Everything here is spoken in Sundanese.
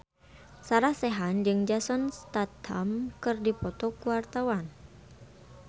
Sarah Sechan jeung Jason Statham keur dipoto ku wartawan